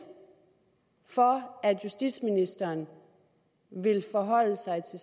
for at justitsministeren vil forholde sig til